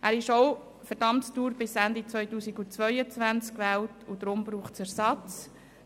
Er ist ebenfalls für die Amtsdauer bis Ende 2022 gewählt, und daher braucht es einen Ersatz.